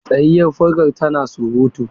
Tsayayyar fankan tana surutu.